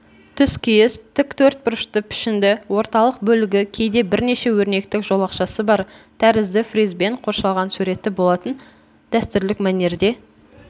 түскиіз тік төртбұрышты пішінді орталық бөлігі кейде бірнеше өрнектік жолақшасы бар тәрізді фризбен қоршалған суреті болатын дәстүрлік мәнерде